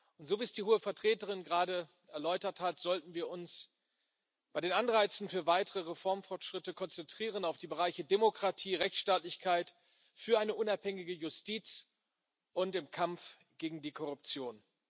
Und so, wie es die Hohe Vertreterin gerade erläutert hat, sollten wir uns bei den Anreizen für weitere Reformfortschritte konzentrieren auf die Bereiche Demokratie, Rechtsstaatlichkeit, unabhängige Justiz und Kampf gegen die Korruption.